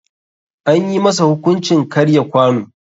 Anyi masa hukuncin karya kwano.